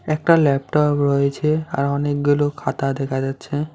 একটা ল্যাপটপ রয়েছে আর অনেকগুলো খাতা দেখা যাচ্ছে।